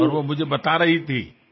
నేను వెళ్ళినప్పుడు నాకు చెప్పింది